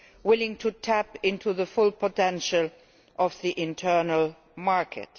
willing to tap into the full potential of the internal market.